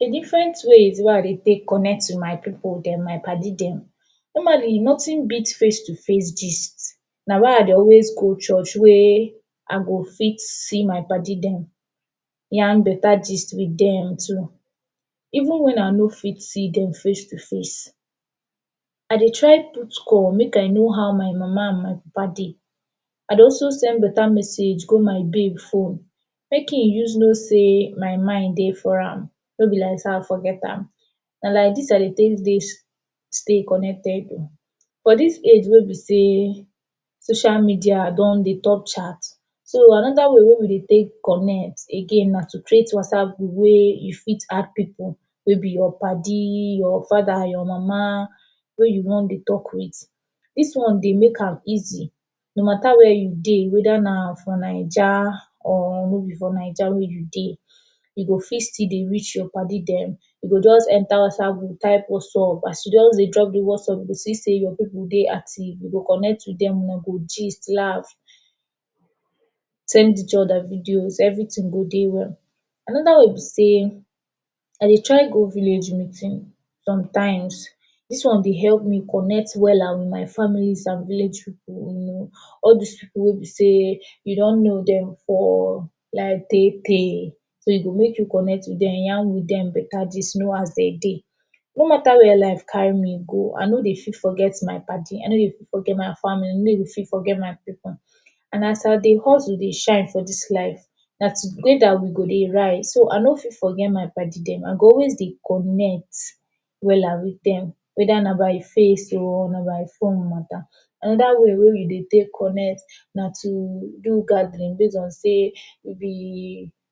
De different ways wey I dey take connect wit my pipu dem, my paddy dem. Normally nothing beat face to face gist, na why I dey always go church wey I go fit see my paddy dem, yarn better gist wit dem too. Even wen I no fit see dem face to face, I dey try put call make I know how my mama and papa dey. I dey also send better message go my babe phone, make he use know sey my mind dey for am, no be like sey I forget am. Na like dis I dey take dey connected oo, for dis age wey be sey social media don dey top chat. So another way wey we dey take connect again na to create WhatsApp group wey you fit add pipu wey be your paddy, your father, your mama wey you wan dey talk wit. Dis one dey make am easy, no matter where you dey; whether na for Naija or no be for Naija wey you dey, you go fit still dey reach your paddy dem. You go just enter Whatsapp group type “what's up”, as you just dey drop de “what's up” you go see sey your pipu dey active, you go connect wit dem, una go gist laugh, send each other videos. Everything go dey well. Another way be sey I dey try go village meeting sometimes. Dis one dey help me connect well wit my families and village pipu, you know, all dis pipu wey be sey you don know dem for life tey tey. So e go make you connect wit dem, yarn wit dem better gist, know as dem dey. No matter where life carry me go, I no dey fit forget my paddy, I no dey quick forget my family, I no dey quick forget my pipu. And as I dey hustle dey shine for dis life, na together we go dey ride so I no fit forget my paddy dem. I go always dey connect wella wit dem; whether na by face oo, na by phone matter. Another way wey we dey take connect na to do gathering base on sey we be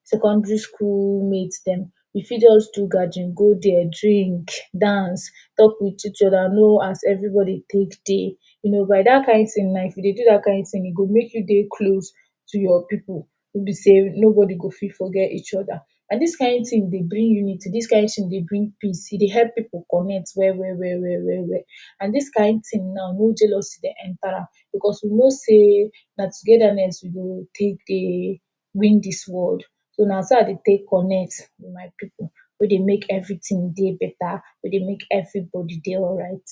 secondary school mates dem. We fit just do gathering, go there, drink, dance, talk wit each other, know as everybody take dey. You know by dat kain thing now, if you dey do dat kain thing, e go make you dey close to your pipu wey be sey nobody go fit forget each other. And dis kain thing dey bring unity. Dis thing dey bring peace, e dey help pipu connect well well well well and dis kain thing now, no jealousy dey enter am because you no sey na togetherness we go take dey win dis world. So na so I dey take connect wit my pipu wey dey make everything dey better, wey dey make everybody dey alright.